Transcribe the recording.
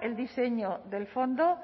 el diseño del fondo